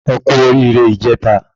Ẹkú oríre ìjèta